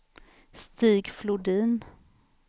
Stig Flodin